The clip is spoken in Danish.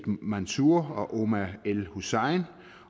mansour og omar el hussein